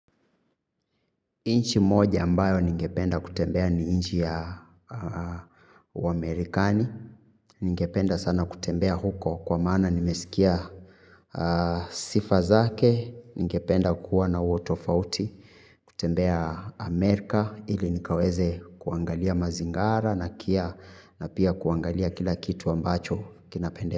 Nchi moja ambayo ningependa kutembea ni nchi ya uamerikani, ningependa sana kutembea huko kwa maana nimesikia sifa zake, ningependa kuwa na utofauti, kutembea Amerika ili nikaweze kuangalia mazingara na kia na pia kuangalia kila kitu ambacho kinapendeza.